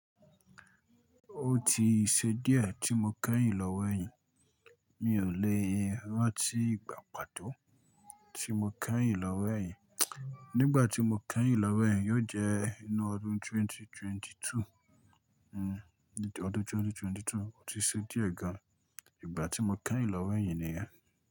Ó ti ṣe díẹ̀ tí mo kẹ́yìn lọ́wọ́ ẹ̀yin, mi ò lè rántí ìgbà pàtó tí mo kẹ́yìn lọ́wọ́ ẹ̀yin. Nígbà tí mo kẹ́yìn lọ́wọ́ ẹ̀yin yóò jẹ́ inú ọdún 2022. Hmm, ọdún 2022. Ó ti ṣe díẹ̀ gan. Ìgbà tí mo kẹ́yìn lọ́wọ́ ẹ̀yin nìyẹn.